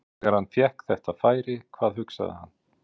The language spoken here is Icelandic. Þegar hann fékk þetta færi, hvað hugsaði hann?